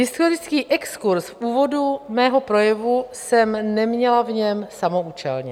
Historický exkurz v úvodu svého projevu jsem neměla v něm samoúčelně.